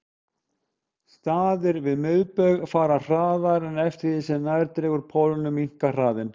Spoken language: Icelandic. Staðir við miðbaug fara hraðast en eftir því sem nær dregur pólunum minnkar hraðinn.